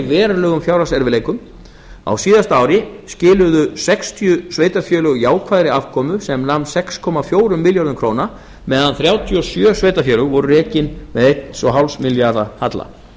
verulegum fjárhagserfiðleikum á síðasta ári skiluðu sextíu sveitarfélög jákvæðri afkomu sem nam sex komma fjórum milljörðum króna meðan þrjátíu og sjö sveitarfélög voru rekin með einum komma fimm milljarða króna halla